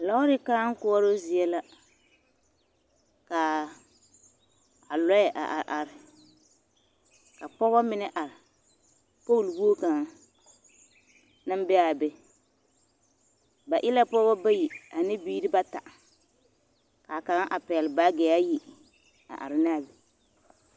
Lɔɔre kãã koɔroo zie la k'a lɔɛ a are ka pɔgebɔ mine are pooli wogi kaŋa naŋ be a be, ba e la pɔgebɔ bayi ane biiri bata k'a kaŋa a pɛgele baagi ayi a are ne a be.